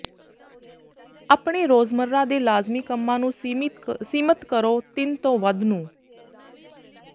ਆਪਣੇ ਰੋਜ਼ਮਰਾ ਦੇ ਲਾਜ਼ਮੀ ਕੰਮਾਂ ਨੂੰ ਸੀਮਿਤ ਕਰੋ ਤਿੰਨ ਤੋਂ ਵੱਧ ਨੂੰ